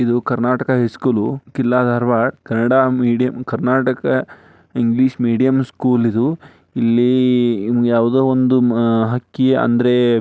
ಇದು Karnataka high school ಕಿಲ್ಲಾ Dharwad Kannada medium Karnataka English medium school ಇದು ಇಲ್ಲಿ ಇಲ್ಲಿ ಯಾವುದೋ ಒಂದು ಹಕ್ಕಿ ಅಂದ್ರೆ --